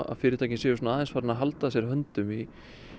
að fyrirtækin séu aðeins farin að halda að sér höndum í